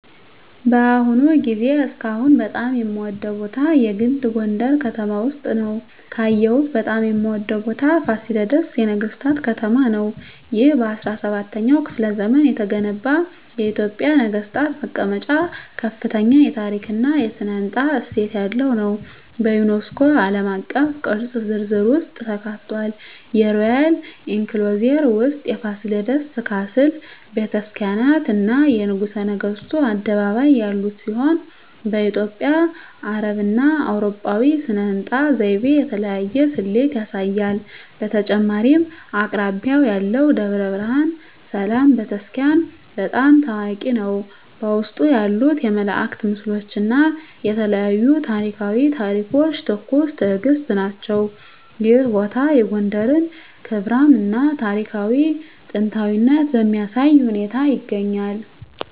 በአሁኑ ጊዜ እስካሁን በጣም የምወደዉ ቦታ የግል ጎንደረ ከተማ ውስጥ ነዉ። ካየሁት በጣም የምወደው ቦታ ፋሲለደስ የነገሥታት ከተማ ነው። ይህ በ17ኛው ክፍለ ዘመን የተገነባ የኢትዮጵያ ነገሥታት መቀመጫ ከፍተኛ የታሪክ እና ሥነ ሕንፃ እሴት ያለው ሲሆን፣ በዩኔስኮ ዓለም አቀፍ ቅርስ ዝርዝር ውስጥ ተካትቷል። የሮያል ኢንክሎዜር ውስጥ የፋሲለደስ ካስል፣ ቤተ ክርስቲያናት፣ እና የንጉሠ ነገሥቱ አደባባይ ያሉት ሲሆን፣ በኢትዮጵያ፣ አረብና አውሮፓዊ ሥነ ሕንፃ ዘይቤ የተለያየ ስሌት ያሳያል። በተጨማሪም አቅራቢያው ያለው ደብረ ብርሃን ሰላም ቤተ ክርስቲያን** በጣም ታዋቂ ነው፣ በውስጡ ያሉት የመላእክት ምስሎች እና የተለያዩ ታሪኳዊ ታሪኮች ትኩስ ትእግስት ናቸው። ይህ ቦታ የጎንደርን ክብራም እና ታሪካዊ ጥንታዊነት በሚያሳይ ሁኔታ ይገኛል።